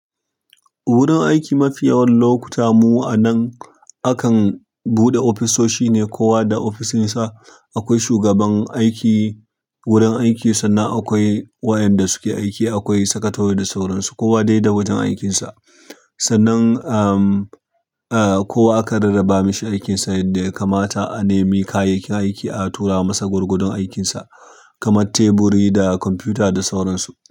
Wurin aiki mafiyawan lokuta mu anan akan buɗe ofisoshi ne kowa da ofishinsa. Akwai shugaban aiki wurin aiki sannan akwai waɗanda suke aiki, akwai sakatare da sauran su, kowa dai da wajen aikinsa. Sannan, amm, ahh, kowa aka rarraba mashi aikinsa yadda ya kamata, anemi kayayyakin aiki, a tura masa gwuargodon aikinsa kamar teburi da kwamfuta da sauran su.